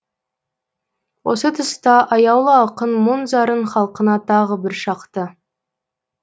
осы тұста аяулы ақын мұң зарын халқына тағы бір шақты